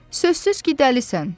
Sözsüz ki, dəlisən.